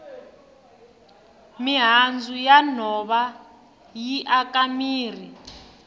mihandzu ya nhova yi aka mirhi